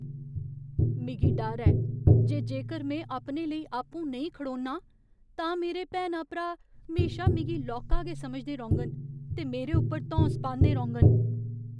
मिगी डर ऐ जे जेकर में अपने लेई आपूं नेईं खड़ोन्नां, तां मेरे भैनां भ्रा म्हेशा मिगी लौह्का गै समझदे रौह्ङन ते मेरे उप्पर धौंस पांदे रौह्ङन।